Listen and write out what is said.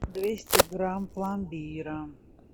двести грамм пломбира